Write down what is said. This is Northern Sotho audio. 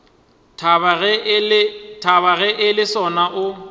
thaba ge le sona o